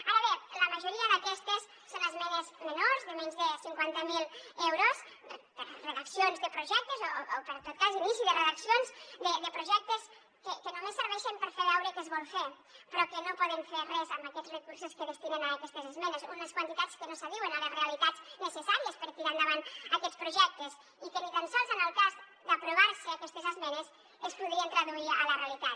ara bé la majoria d’aquestes són esmenes menors de menys de cinquanta mil euros per a redaccions de projectes o per en tot cas inici de redaccions de projectes que només serveixen per fer veure què es vol fer però que no poden fer res amb aquests recursos que destinen a aquestes esmenes unes quantitats que no s’adiuen a les realitats necessàries per tirar endavant aquests projectes i que ni tan sols en el cas d’aprovar se aquestes esmenes es podrien traduir a la realitat